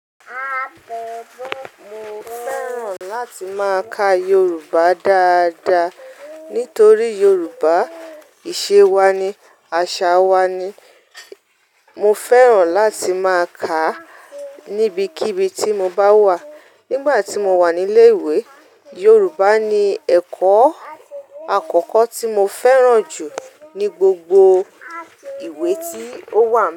Mo fẹ́ran láti máa ka Yoruba dáadáa nítorí Yoruba ìṣẹ́ wa ni, àṣà wa ni. Mo fẹ́ran láti máa kà á níbikíbi tí mo bá wà. Nígbà tí mo wà nílé ìwé, Yoruba ni ẹ̀kọ́ àkọ́kọ́ tí mo fẹ́ran jù ní gbogbo ìwé tí ó wà.